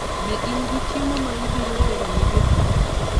Be in gi chiemo ma ibiro tero ne japur?